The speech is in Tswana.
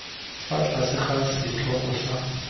fa tlase ga setlhogo sa